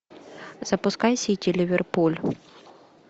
запускай сити ливерпуль